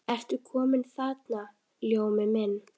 Ertu kominn þarna, Ljómi minn.